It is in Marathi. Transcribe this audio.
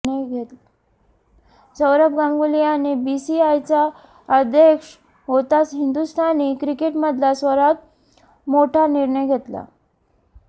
सौरभ गांगुली याने बीसीसीआयचा अध्यक्ष होताच हिंदुस्थानी क्रिकेटमधला सर्वात मोठा निर्णय घेतला